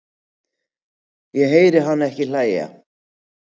Ég heyri hana ekki hlæja